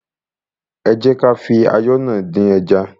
Ẹ jẹ́ kí á fi ayọ́ náà dín ẹja.